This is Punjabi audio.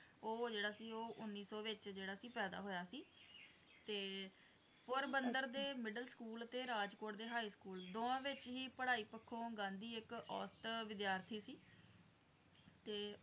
ਉਹ ਜਿਹੜਾ ਕਿ ਉਹ ਉਨੀ ਸੌ ਵਿੱਚ ਜਿਹੜਾ ਸੀ ਪੈਦਾ ਹੋਇਆ ਸੀ ਤੇ ਪੋਰਬੰਦਰ ਦੇ middleschool ਤੇ ਰਾਜਕੋਟ ਦੇ high school ਦੋਵਾਂ ਵਿੱਚ ਹੀ ਪੜਾਈ ਪੱਖੋਂ ਗਾਂਧੀ ਇੱਕ ਅੋੋੋੋਸਤ ਵਿਦਿਆਰਥੀ ਸੀ ਤੇ